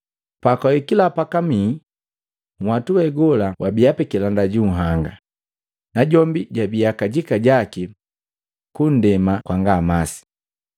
Pakwahikila pakamii, nhwatu we gola wabia pikilanda ju nhanga, najombi jabia kajika jaki kundema kwanga masi.